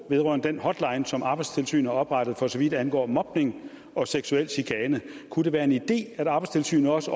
vedrørende den hotline som arbejdstilsynet har oprettet for så vidt angår mobning og seksuel chikane kunne det være en idé at arbejdstilsynet også